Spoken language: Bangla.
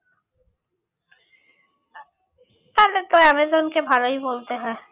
তাহলে তো অ্যামাজনকে ভালোই বলতে হয়